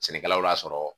Sɛnɛkɛlaw y'a sɔrɔ